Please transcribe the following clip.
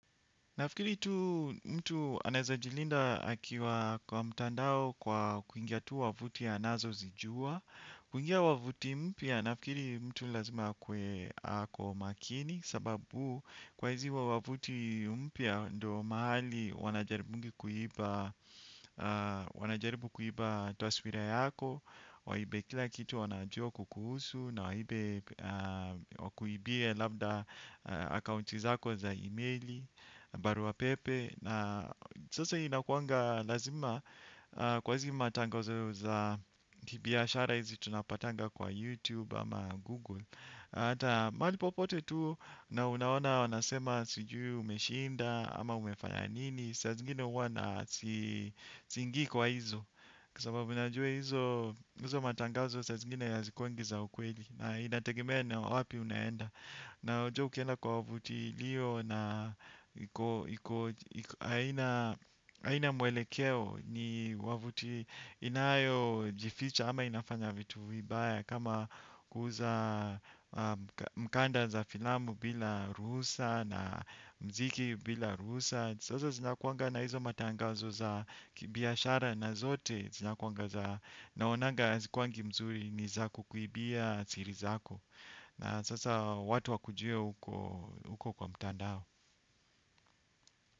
Nafikiri tu mtu anawezajilinda akiwa kwa mtandao kwa kuingia tu wavuti anazozijua. Kuingia wavuti mpya nafikiri mtu lazima akuwe ako makini. Sababu kwa hizi wavuti mpya ndio mahali wanajaribungi kuiba, wanajaribu kuiba taswira yako. Waibe kila kitu wanajua kukuhusu na waibe wakuibie labda akaunti zako za emaili. Barua pepe na sasa inakuanga lazima kwa hizi matangazo za kibiashara hizi tunapatanga kwa Youtube ama Google hata mahali popote tu na unaona wanasema sijui umeshinda ama umefanya nini saa zingine huwa na siingii kwa hizo kwa sababu najua hizo, hizo matangazo saa zingine hazikuangi za ukweli na inategemea na wapi unaenda na ujue ukienda kwa wavuti iliyo na iko haina, haina mwelekeo ni wavuti inayojificha ama inafanya vitu vibaya kama kuuza mkanda za filamu bila ruhusa na muziki bila ruhusa sasa zinakuanga na hizo matangazo za kibiashara na zote zinakuanga za naonanga hazikuwangi mzuri ni za kukuibia siri zako na sasa watu wakujue uko, uko kwa mtandao.